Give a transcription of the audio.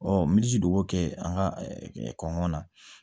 min ji de b'o kɛ an ka kɔngɔn na